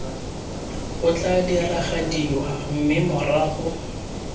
o tla diragadiwa mme morago